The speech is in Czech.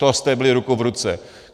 To jste byli ruku v ruce.